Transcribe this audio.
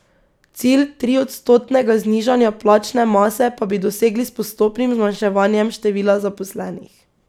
Cilj triodstotnega znižanja plačne mase pa bi dosegli s postopnim zmanjševanjem števila zaposlenih.